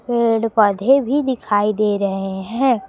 पेड़ पौधे भी दिखाई दे रहे हैं।